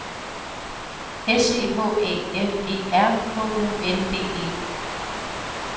S C H Æ F E R H U N D E